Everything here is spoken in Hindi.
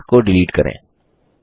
इस लिंक को डिलीट करें